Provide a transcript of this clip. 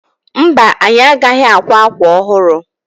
Mba, anyị agaghị akwa akwa ọhụrụ.